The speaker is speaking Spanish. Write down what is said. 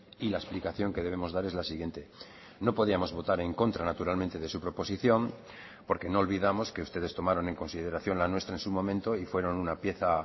y la explicación que debemos dar es la siguiente no podíamos votar en contra naturalmente de su proposición porque no olvidamos que ustedes tomaron en consideración la nuestra en su momento y fueron una pieza